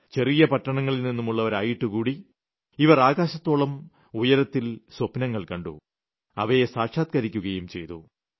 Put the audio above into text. ചെറിയ പട്ടണങ്ങളിൽ നിന്നുളളവരായിട്ട് കൂടി ഇവർ ആകാശത്തോളം ഉയരത്തിൽ സ്വപ്നങ്ങൾ കണ്ടു അവയെ സാക്ഷാത്കരിക്കുകയും ചെയ്തു